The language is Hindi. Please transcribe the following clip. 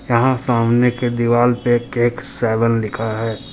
यहां सामने की दीवाल पे केक सेवन लिखा है।